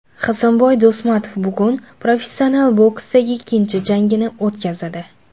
Hasanboy Do‘stmatov bugun professional boksdagi ikkinchi jangini o‘tkazadi.